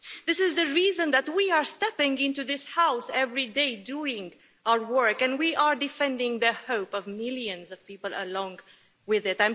This is the reason that we are stepping into this House every day, doing our work and we are defending the hope of millions of people along with it.